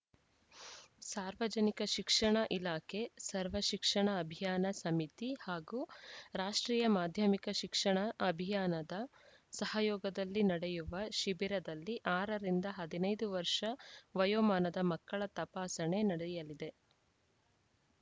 ಸಾರ್ವಜನಿಕ ಶಿಕ್ಷಣ ಇಲಾಖೆ ಸರ್ವಶಿಕ್ಷಣ ಅಭಿಯಾನ ಸಮಿತಿ ಹಾಗೂ ರಾಷ್ಟ್ರೀಯ ಮಾಧ್ಯಮಿಕ ಶಿಕ್ಷಣ ಅಭಿಯಾನದ ಸಹಯೋಗದಲ್ಲಿ ನಡೆಯುವ ಶಿಬಿರದಲ್ಲಿ ಆರು ರಿಂದ ಹದಿನೈದು ವರ್ಷ ವಯೋಮಾನದ ಮಕ್ಕಳ ತಪಾಸಣೆ ನಡೆಯಲಿದೆ